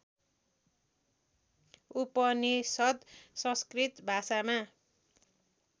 उपनिषद् संस्कृत भाषामा